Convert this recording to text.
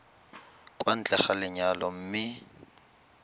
kwa ntle ga lenyalo mme